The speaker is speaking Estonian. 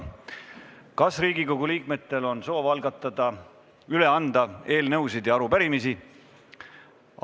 Kas Riigikogu liikmetel on soov üle anda eelnõusid ja arupärimisi?